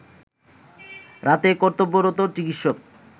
রাতে কর্তব্যরত চিকিৎসক